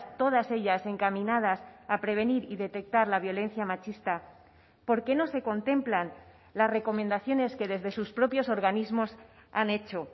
todas ellas encaminadas a prevenir y detectar la violencia machista por qué no se contemplan las recomendaciones que desde sus propios organismos han hecho